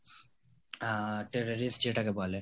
আহ terrorist যেটাকে বলে